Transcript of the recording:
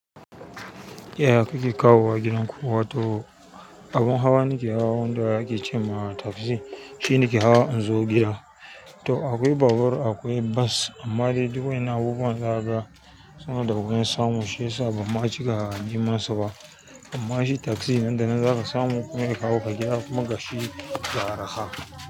Yaya kuke kawa gidan kuwa to abin hawa nake hawa wanda kike ce ma taksi. Shi nake hawa in zo gida. To akwai babur, akwai bas amma dai duk wani abubuwan zaga suna da wuya samu. Shi ya sa ba ma cika a jiminsa ba. Amma shi taksi nan da nan zaka samu kuma ya kawo ka gida kuma ka shi ga arha.